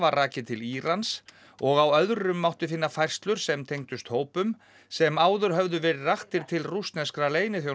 rakið til Írans og á öðrum mátti finna færslur sem tengdust hópum sem áður höfðu verið raktir til rússneskra